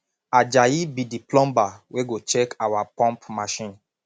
ajayi be the plumber wey go check our pump machine